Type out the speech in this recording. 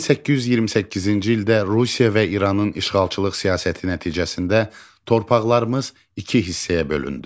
1828-ci ildə Rusiya və İranın işğalçılıq siyasəti nəticəsində torpaqlarımız iki hissəyə bölündü.